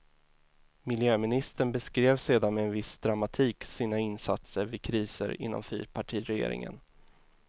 Miljöministern beskrev sedan med viss dramatik sina insatser vid kriser inom fyrpartiregeringen.